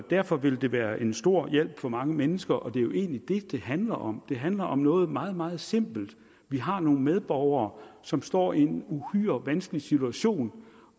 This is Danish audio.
derfor vil det være en stor hjælp for mange mennesker og det er jo egentlig det det handler om det handler om noget meget meget simpelt vi har nogle medborgere som står i en uhyre vanskelig situation